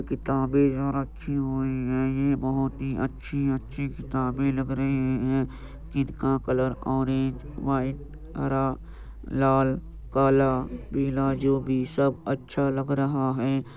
किताबें यहां रखी हुई है। ये बहुत ही अच्छी-अच्छी किताबें लग रही हैं जिनका कलर ऑरेंज वाईट हरा लाल काला पीला जो भी सब अच्छा लग रहा है।